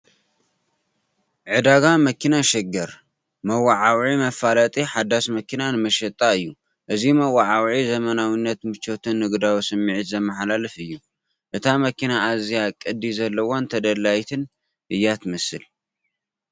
"ዕዳጋ መኪና ሸገር" መወዓውዒ/መፋለጢ ሓዳስ መኪና ንመሸጣ እዩ። እዚ መወዓውዒ ዘመናዊነት፣ ምቾትን ንግዳዊ ስምዒትን ዘመሓላልፍ እዩ፤ እታ መኪና ኣዝያ ቅዲ ዘለዋን ተደላዪትን እያ ትመስል።